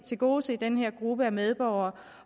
tilgodese den her gruppe af medborgere